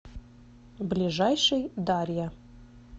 ближайший дарья